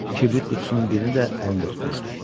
Kibrit qutusunun birini də əlində tutmuşdu.